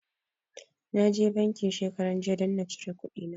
Na je banki shekaranjiya don na cire kuɗina.